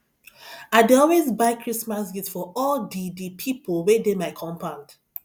i dey always buy christmas gift for all di di pipo wey dey my compound